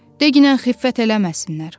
De ginən xiffət eləməsinlər.